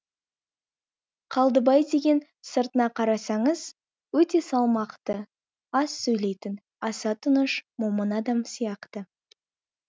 қалдыбай деген сыртына қарасаңыз өте салмақты аз сөйлейтін асатыныш момын адам сияқты